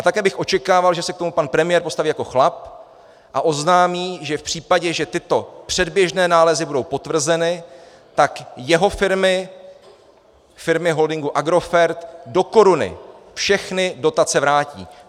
A také bych očekával, že se k tomu pan premiér postaví jako chlap a oznámí, že v případě, že tyto předběžné nálezy budou potvrzeny, tak jeho firmy, firmy holdingu Agrofert, do koruny všechny dotace vrátí.